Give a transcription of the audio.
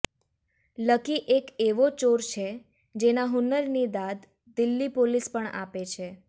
lucky એક એવો ચોર છે જેના હુન્નરની દાદ દિલ્લી પોલીસ પણ આપે છે